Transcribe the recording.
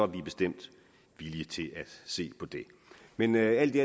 vi bestemt villige til at se på det men alt i